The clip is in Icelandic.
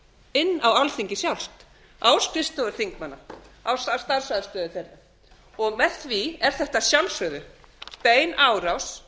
inn á alþingi sjálft á skrifstofur þingmanna á starfsaðstöðu þeirra og með því er þetta að sjálfsögðu bein árás